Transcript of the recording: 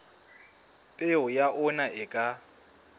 peo ya ona e ka